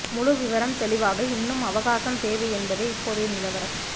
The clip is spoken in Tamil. முழு விவரம் தெளிவாக இன்னும் அவகாசம் தேவை என்பதே இப்போதைய நிலவரம்